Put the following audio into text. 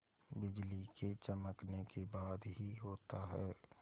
बिजली के चमकने के बाद ही होता है